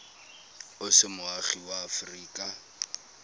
o se moagi wa aforika